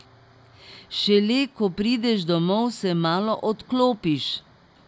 Šele ko prideš domov, se malo odklopiš.